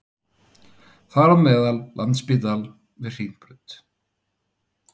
Þar á meðal Landspítalann við Hringbraut